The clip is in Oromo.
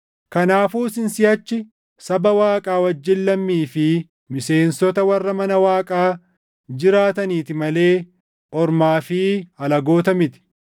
Kanaafuu isin siʼachi saba Waaqaa wajjin lammii fi miseensota warra mana Waaqaa jiraataniiti malee ormaa fi alagoota miti;